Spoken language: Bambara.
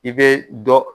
I bɛ dɔ